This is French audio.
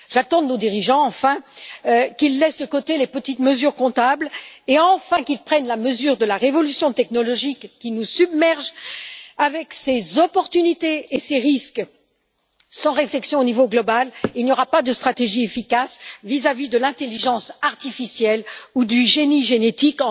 J'attends enfin de nos dirigeants qu'ils laissent de côté les petites mesures comptables et prennent enfin la mesure de la révolution technologique qui nous submerge, avec ses bienfaits et ses risques. Sans réflexion au niveau global, il n'y aura pas de stratégie efficace vis à vis de l'intelligence artificielle ou du génie génétique.